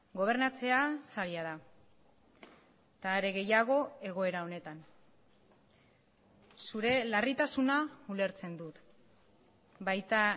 gobernatzea zaila da eta are gehiago egoera honetan zure larritasuna ulertzen dut baita